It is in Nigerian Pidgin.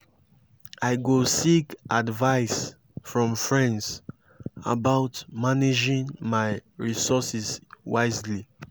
i go seek advice from friends about managing my resources wisely.